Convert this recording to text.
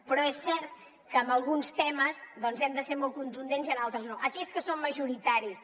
però és cert que en alguns temes doncs hem de ser molt contundents i en altres no en aquells que són majoritaris